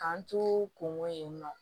K'an to kungo yen nɔ